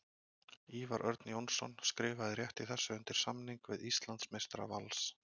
Ívar Örn Jónsson skrifaði rétt í þessu undir samning við Íslandsmeistara Vals.